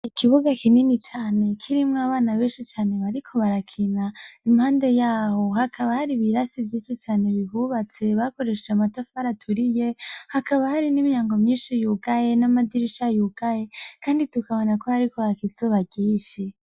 Ikibuga kinini cane kirimwo abana benshi bariko barakina impande yaho hakaba hari ibirasi vyinshi cane bihubatse bakoresheje amatafari aturiye hakaba hari n' imyango myinshi yugaye n' amadirisha yugaye kandi tukabona ko hariko haraka izuba ryinshi.